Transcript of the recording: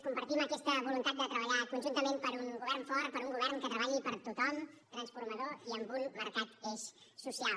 compartim aquesta voluntat de treballar conjuntament per un govern fort per un govern que treballi per tothom transformador i amb un marcat eix social